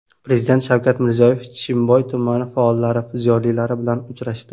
Prezident Shavkat Mirziyoyev Chimboy tumani faollari, ziyolilari bilan uchrashdi.